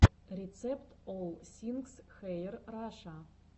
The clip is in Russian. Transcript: рецепт олл сингс хэир раша